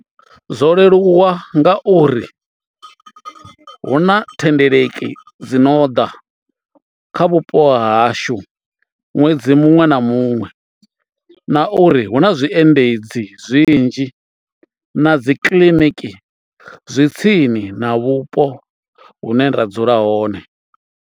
Zwo leluwa ngauri hu na thendeleki dzi no ḓa kha vhupo hashu ṅwedzi muṅwe na muṅwe na uri hu na zwiendedzi zwinzhi na dzi kiḽiniki zwi tsini na vhupo hune ra dzula hone.